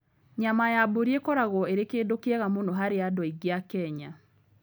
Nyama ya mbũri ĩkoragwo ĩrĩ kĩndũ kĩega mũno harĩ andũ aingĩ a Kenya.